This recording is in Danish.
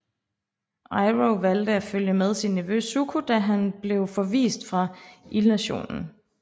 Iroh valgte at følge med sin nevø Zuko da han blev forvist fra ildnationen